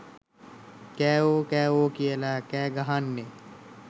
කෑවෝ කෑවෝ කියල කෑගහන්නෙ